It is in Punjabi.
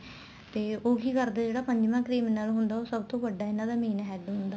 ਤੇ ਉਹ ਕੀ ਕਰਦੇ ਨੇ ਜਿਹੜੇ ਪੰਜਵਾਂ criminal ਹੁੰਦਾ ਉਹ ਸਭ ਵੱਡਾ ਇਹਨਾ ਦਾ main head ਹੁੰਦਾ